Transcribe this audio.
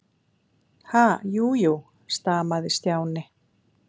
Ha- jú, jú stamaði Stjáni.